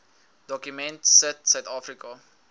dokument sit suidafrika